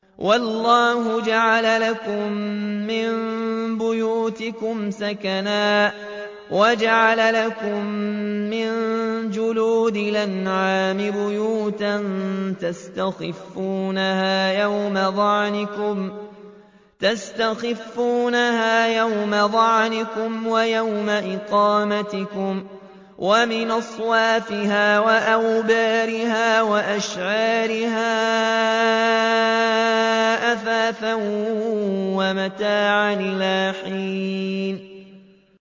وَاللَّهُ جَعَلَ لَكُم مِّن بُيُوتِكُمْ سَكَنًا وَجَعَلَ لَكُم مِّن جُلُودِ الْأَنْعَامِ بُيُوتًا تَسْتَخِفُّونَهَا يَوْمَ ظَعْنِكُمْ وَيَوْمَ إِقَامَتِكُمْ ۙ وَمِنْ أَصْوَافِهَا وَأَوْبَارِهَا وَأَشْعَارِهَا أَثَاثًا وَمَتَاعًا إِلَىٰ حِينٍ